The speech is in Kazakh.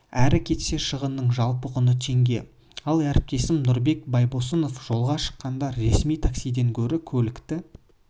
әрі кетсе шығынның жалпы құны теңге ал әріптесім нұрбек байбосын жолға шыққанда ресми таксиден гөрі көлікті